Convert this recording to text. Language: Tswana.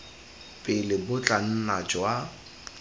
pele bo tla nna jwa